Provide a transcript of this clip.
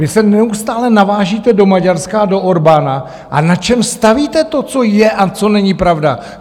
Vy se neustále navážíte do Maďarska a do Orbána - a na čem stavíte to, co je a co není pravda?